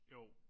Jo